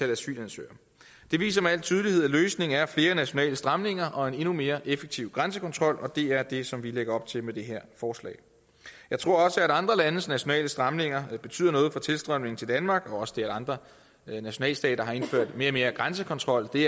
af asylansøgere det viser med al tydelighed at løsningen er flere nationale stramninger og en endnu mere effektiv grænsekontrol og det er det som vi lægger op til med det her forslag jeg tror også at andre landes nationale stramninger betyder noget for tilstrømningen til danmark også det at andre nationalstater har indført mere og mere grænsekontrol det